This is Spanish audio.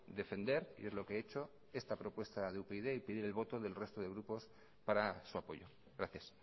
defender y es lo que he hecho esta propuesta de upyd y pedir el voto del resto de grupos para su apoyo gracias